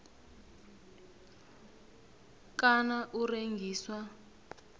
kana u rengiswa